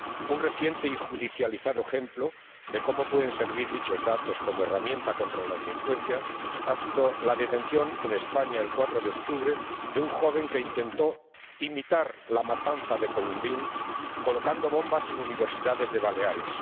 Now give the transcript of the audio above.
Un reciente y judicializado ejemplo de como pueden servir dichos datos como herramienta contra la delincuencia ha sido la detención en España, el 4 de octubre, de un joven que intentó imitar la matanza de Columbine colocando bombas en universidades de Baleares